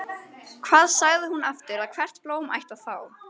Hvað sagði hún aftur að hvert blóm ætti að fá?